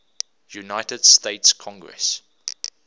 united states congress